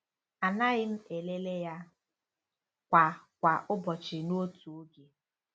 Anaghị m elele ya kwa kwa ụbọchị n'otu oge.